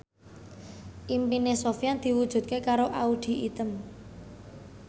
impine Sofyan diwujudke karo Audy Item